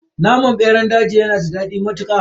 Naman beran daji yanada dadi matuka.